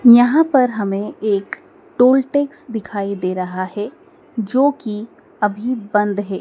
यहां पर हमे एक टोल टैक्स दिखाई दे रहा है जोकि अभी बंद है।